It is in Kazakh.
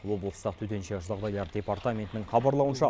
облыстық төтенше жағдайлар департаментінің хабарлауынша